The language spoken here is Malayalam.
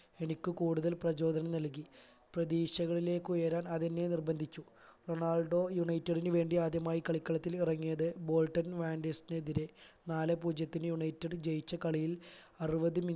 എനിക്ക് കൂടുതൽ പ്രചോതനം നൽകി പ്രതീക്ഷകളിലേക്ക് ഉയരാൻ അതെന്നെ നിർബന്ധിച്ചു റൊണാൾഡോ united ന് വേണ്ടി ആദ്യമായി കളിക്കളത്തിൽ ഇറങ്ങിയത് ബോൾട്ടൻ വാന്ടിസ്ന് എതിരെ നാലേ പൂജ്യത്തിന് united ജയിച്ച കളിയിൽ അറുപത്